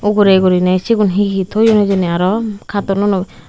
ugurey guriney sigun hee hee toyon hijeni aro kartonunoi.